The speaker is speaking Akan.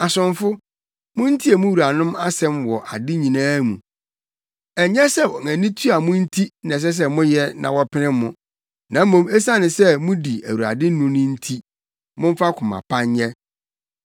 Asomfo, muntie mo wuranom asɛm wɔ ade nyinaa mu. Ɛnyɛ sɛ wɔn ani tua mo nti na ɛsɛ sɛ moyɛ na wɔpene mo, na mmom esiane sɛ mudi Awurade ni no nti, momfa koma pa nyɛ.